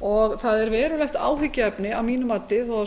það er verulegt áhyggjuefni að mínu mati þó